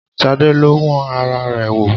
Ṣadé lọ wọn ara rẹ̀ wo